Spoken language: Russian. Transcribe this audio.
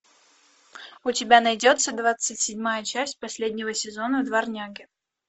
у тебя найдется двадцать седьмая часть последнего сезона дворняги